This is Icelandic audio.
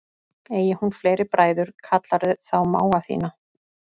Eigi hún fleiri bræður kallarðu þá mága þína.